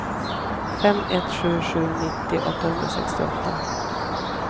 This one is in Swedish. fem ett sju sju nittio åttahundrasextioåtta